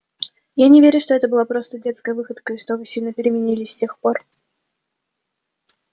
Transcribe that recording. я не верю что это была просто детская выходка и что вы сильно переменились с тех пор